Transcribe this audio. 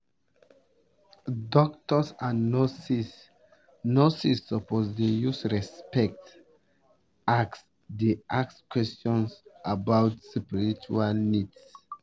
doctors and nurses nurses suppose dey use respect ask dey ask questions about spiritual needs